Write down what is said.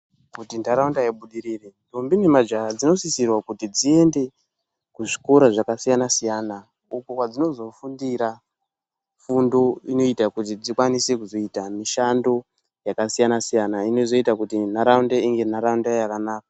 Kuti ntaraunda ibudirire, ndombi nemajaha dzinosisirwa kuti dziende kuzvikora zvakasiyana-siyana uko kwadzinozofundira fundo inoita kuti dzikwanise kuzoita mishando yakasiyana-siyana. Inozoita kuti ntaraunda ive ntaraunda yakanaka.